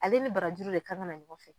Ale ni barajuru de kan ka ɲɔgɔn fɛ.